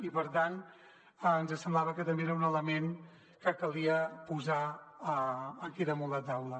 i per tant ens semblava que també era un element que calia posar aquí damunt la taula